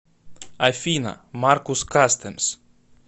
афина маркус кастэмс